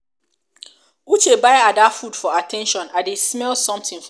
uche buy ada food for at ten tion i dey smell something for.